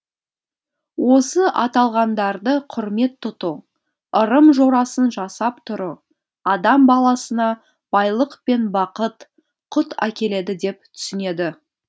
осы аталғандарды құрмет тұту ырым жорасын жасап тұру адам баласына байлық пен бақыт құт әкеледі деп түсінеді